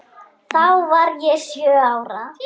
Þá var ég sjö ára.